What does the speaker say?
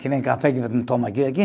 Que nem café que tomam aqui, aqui.